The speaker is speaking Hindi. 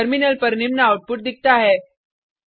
टर्मिनल पर निम्न आउटपुट दिखता है